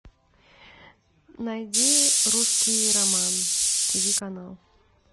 найди русский роман тв канал